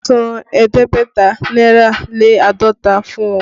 San ẹ̀ẹ́dẹ́gbẹ̀ta náírà lé àádọ́ta fún wọn!